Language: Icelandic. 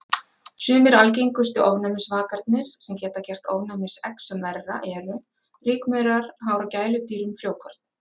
Sumir algengustu ofnæmisvakarnir sem geta gert ofnæmisexem verra eru: Rykmaurar, hár af gæludýrum, frjókorn.